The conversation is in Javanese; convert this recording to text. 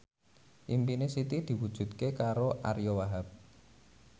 impine Siti diwujudke karo Ariyo Wahab